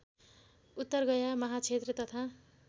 उत्तरगया महाक्षेत्र तथा